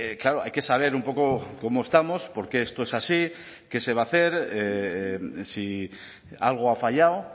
claro hay que saber un poco cómo estamos por qué esto es así qué se va a hacer si algo ha fallado